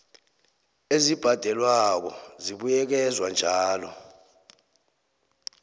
ezibhadelwako zibuyekezwa njalo